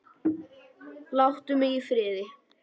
Láttu mig í friði!